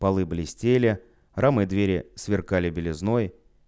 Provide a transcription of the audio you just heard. полы блестели рамы двери сверкали белизной